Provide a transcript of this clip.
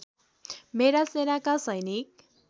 मेरा सेनाका सैनिक